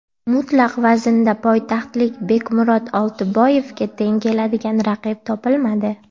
Mutlaq vaznda poytaxtlik Bekmurod Oltiboyevga teng keladigan raqib topilmadi.